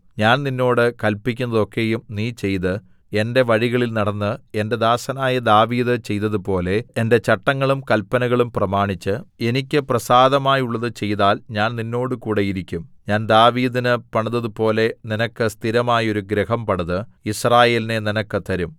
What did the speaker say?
ഞാൻ നിന്നോട് കല്പിക്കുന്നതൊക്കെയും നീ ചെയ്ത് എന്റെ വഴികളിൽ നടന്ന് എന്റെ ദാസനായ ദാവീദ് ചെയ്തതുപോലെ എന്റെ ചട്ടങ്ങളും കല്പനകളും പ്രമാണിച്ച് എനിക്ക് പ്രസാദമായുള്ളത് ചെയ്താൽ ഞാൻ നിന്നോടുകൂടെ ഇരിക്കും ഞാൻ ദാവീദിന് പണിതതുപോലെ നിനക്ക് സ്ഥിരമായോരു ഗൃഹം പണിത് യിസ്രായേലിനെ നിനക്ക് തരും